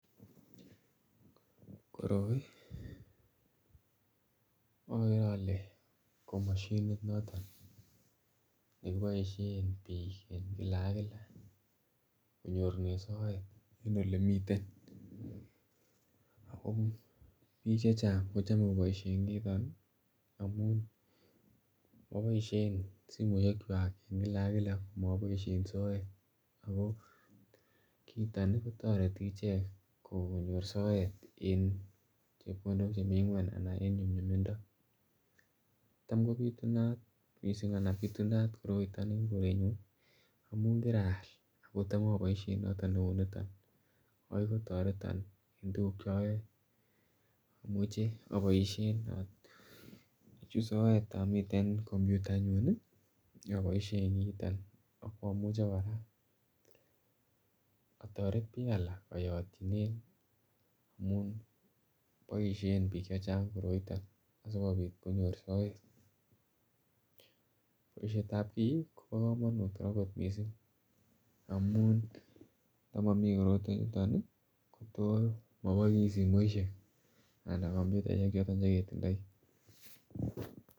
Koroi okere ole ko moshinit noton neboisien biik en kila ak kila konyorunen soet en olemiten ako biik chechang kochome koboisien kiiton ih amun moboisien simoisiek kwak en kila ak kila komoboisien soet ako kiiton kotoreti ichek konyor soet en chepkondok chemii ng'weny anan en nyumnyumindo. Tam kobitunat missing anan bitunat koroiton en koretnyun ih amun kiraal ako tam aboisien kiiton noton neuniton ako kitoreton en tuguk cheoyoe. Amuchii aboisien achut soet omiten computer inyun ih aboisien kiiton akomuche kora otoret biik alak oyotyinen amun boisien biik chechang koroiton sikobit konyor soet. Boisiet ab kii kobo komonut kora kot missing amun ndamomii korotwechuton ih kotos moboisie simoisiek anan komputaisiek choton cheketindoi